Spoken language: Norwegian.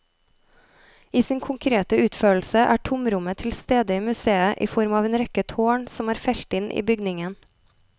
I sin konkrete utførelse er tomrommet tilstede i museet i form av en rekke tårn som er felt inn i bygningen.